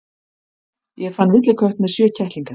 Ég fann villikött með sjö kettlinga.